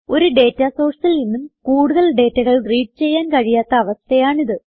ഒരു ഡേറ്റ sourceൽ നിന്നും കൂടുതൽ ഡേറ്റകൾ റീഡ് ചെയ്യാൻ കഴിയാത്ത ഒരു അവസ്ഥയാണിത്